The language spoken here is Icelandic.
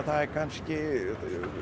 það er kannski